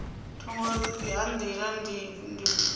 thungo ha nḓila dzi vula